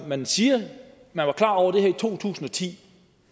man siger at man var klar over det her i to tusind og ti